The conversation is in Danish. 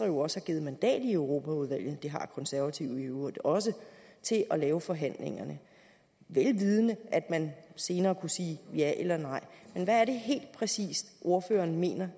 jo også givet mandat i europaudvalget det har de konservative i øvrigt også til at lave forhandlingerne vel vidende at man senere kunne sige ja eller nej men hvad er det helt præcis ordføreren mener